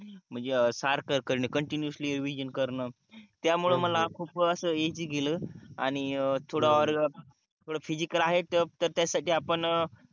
म्हणजे सारख continuously revision करण त्यामुळं मला खूप अस इजी गेल आणि थोड थोड फिसिक्स आहे तर त्याच्या साठी आपण